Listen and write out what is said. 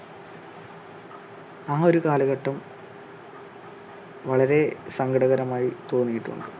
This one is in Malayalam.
ആ ഒരു കാലഘട്ടം വളരെ സങ്കടകരമായി തോന്നിയിട്ടുണ്ട്.